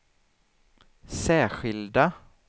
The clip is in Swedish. särskilda